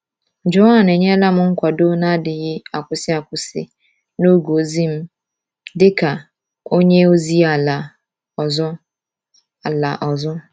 Joan enyela m nkwado na-adịghị akwụsị akwụsị n’oge ozi m dị ka onye ozi ala ọzọ. ala ọzọ.